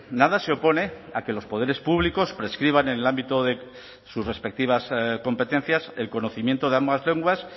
nada se opone a que los poderes públicos prescriban en el ámbito de sus respectivas competencias el conocimiento de ambas lenguas